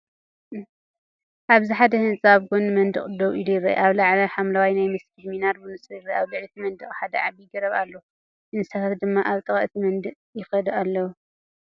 ኣብዚ ሓደ ህጻን ኣብ ጎኒ መንደቕ ደው ኢሉ ይርአ። ኣብ ላዕሊ፡ ሓምላይ ናይ መስጊድ ሚናር ብንጹር ይርአ። ኣብ ልዕሊ እቲ መንደቕ ሓደ ዓቢ ገረብ ኣሎ፣ እንስሳታት ድማ ኣብ ጥቓ እቲ መንደቕ ይከዱ ኣለው።